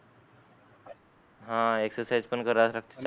हान एक्सरसाईज पण करायला लागते